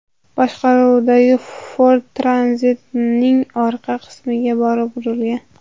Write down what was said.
boshqaruvidagi Ford Tranzit’ning orqa qismiga borib urilgan.